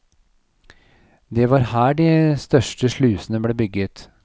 Det var her de største slusene ble bygget.